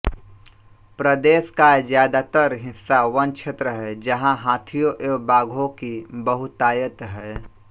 प्रदेश का ज्यादातर हिस्सा वनक्षेत्र है जहाँ हाथियों एवं बाघों की बहुतायत है